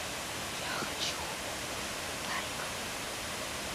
я хочу обувь найк